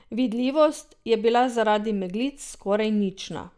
Vidljivost je bila zaradi meglic skoraj nična.